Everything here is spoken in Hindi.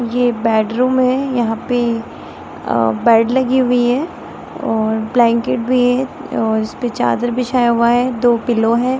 ये बेडरूम है यहाँ पे अ बेड लगी हुई है और ब्लैंकेट भी है और इसपे चादर बिछाया हुआ है दो पिल्लो है ।